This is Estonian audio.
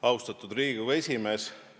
Austatud Riigikogu esimees!